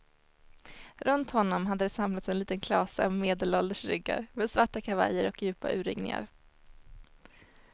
Runt honom hade det samlats en liten klase av medelålders ryggar med svarta kavajer och djupa urringningar.